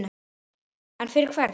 En fyrir hvern?